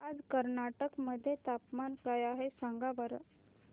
आज कर्नाटक मध्ये तापमान काय आहे सांगा बरं